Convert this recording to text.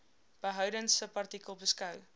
behoudens subartikel beskou